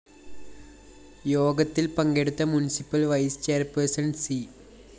യോഗത്തില്‍ പങ്കെടുത്ത municipal vice chairperson C